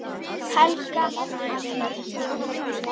Helga, Anna og Halla.